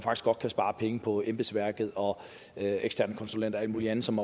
godt kan spare penge på embedsværket og eksterne konsulenter og alt muligt andet som